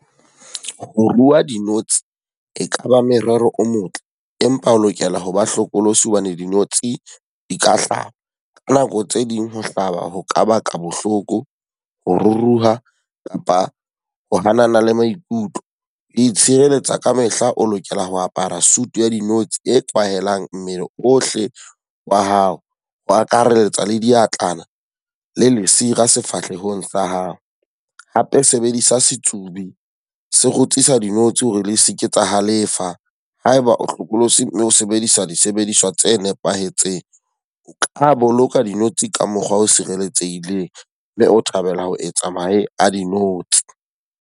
Ho rua dinotshi e ka ba merero o motle, empa o lokela ho ba hlokolosi hobane dinotshi di ka hlaha. Ka nako tse ding ho hlaba ho ka baka bohloko, ho ruruha kapa ho hanana le maikutlo. Itshireletsa ka mehla o lokela ho apara suit ya dinotshi e kwahelang mmele ohle wa hao, ho akarelletsa le diatlana le lesira sefahlehong sa hao. Hape sebedisa setsubi, se kgutsisa dinotshi hore le se ke tsa halefa. Ha eba o hlokolosi, mme o sebedisa disebediswa tse nepahetseng. O ka boloka dinotsi ka mokgwa o sireletsehileng mme o thabela ho etsa mahe a dinotsi.